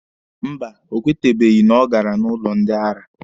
Mba, ọ kwetebeghị na ọ gara n'ụlọ ndị ara.